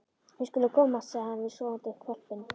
Við skulum komast, sagði hann við sofandi hvolpinn.